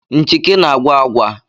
Nchịkị na-agwa agwa